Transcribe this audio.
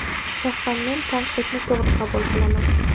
Shaxsan men tanqidni to‘g‘ri qabul qilaman.